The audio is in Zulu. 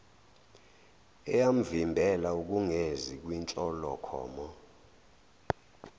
eyamvimbela ukungezi kwinhlolokhono